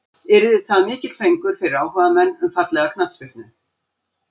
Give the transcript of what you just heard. Yrði það mikill fengur fyrir áhugamenn um fallega knattspyrnu.